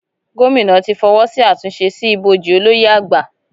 Gómìnà ti fọwọ́ sí àtúnṣe sí ibojì Olóyè àgbà